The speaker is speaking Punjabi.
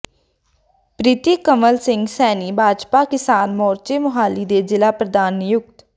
ਪ੍ਰਰੀਤ ਕੰਵਲ ਸਿੰਘ ਸੈਣੀ ਭਾਜਪਾ ਕਿਸਾਨ ਮੋਰਚੇ ਮੋਹਾਲੀ ਦੇ ਜ਼ਿਲ੍ਹਾ ਪ੍ਰਧਾਨ ਨਿਯੁਕਤ